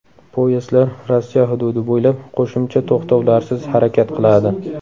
Poyezdlar Rossiya hududi bo‘ylab qo‘shimcha to‘xtovlarsiz harakat qiladi.